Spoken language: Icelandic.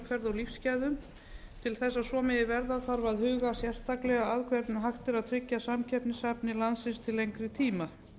velferð og lífsgæðum til þess að svo megi verða þarf að huga sérstaklega að því hvernig hægt er að tryggja samkeppnishæfni landsins til lengri tíma